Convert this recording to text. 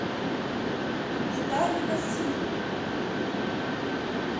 витале васильеве